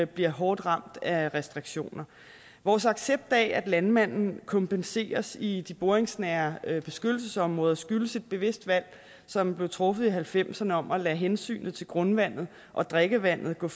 bliver hårdt ramt af restriktioner vores accept af at landmanden kompenseres i de boringsnære beskyttelsesområder skyldes et bevidst valg som blev truffet i nitten halvfemserne om at lade hensynet til grundvandet og drikkevandet gå